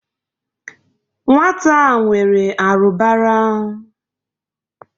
Nwata a nwere arụbara.